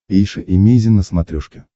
эйша эмейзин на смотрешке